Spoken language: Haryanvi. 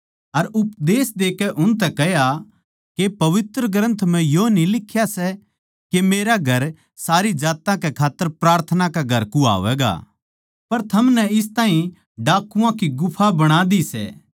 अर उपदेश देकै उनतै कह्या के पवित्र ग्रन्थ म्ह यो न्ही लिख्या सै के मेरा मन्दर सारी जात्तां कै खात्तर प्रार्थना का घर कुह्वावैगा पर थमनै इस ताहीं डाकुआं की गुफा बणा दी सै